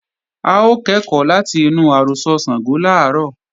A ó kẹ́kọ̀ọ́ láti inú àrọ́sọ Ṣàngó làárọ̀